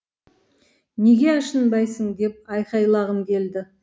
неге ашынбайсың деп айқайлағым келді